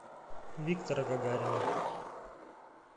виктора гагарина